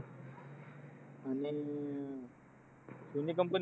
आणि अं Sony company ची